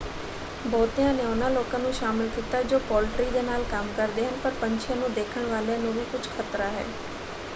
ਬਹੁਤਿਆਂ ਨੇ ਉਹਨਾਂ ਲੋਕਾਂ ਨੂੰ ਸ਼ਾਮਲ ਕੀਤਾ ਜੋ ਪੋਲਟਰੀ ਦੇ ਨਾਲ ਕੰਮ ਕਰਦੇ ਹਨ ਪਰ ਪੰਛੀਆਂ ਨੂੰ ਦੇਖਣ ਵਾਲਿਆਂ ਨੂੰ ਵੀ ਕੁਝ ਖਤਰਾ ਹੈ।